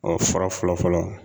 Ɔ fura fɔlɔ fɔlɔ